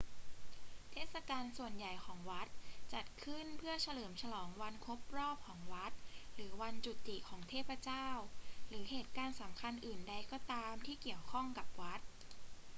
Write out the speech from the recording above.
เทศกาลส่วนใหญ่ของวัดจัดขึ้นเพื่อเฉลิมฉลองวันครบรอบของวัด หรือวันจุติของเทพเจ้า หรือเหตุการณ์สำคัญอื่นใดก็ตามที่เกี่ยวข้องกับวัด